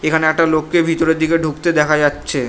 এখানে একটা লোককে ভিতরের দিকে ঢুকতে দেখা যাচ্ছে ।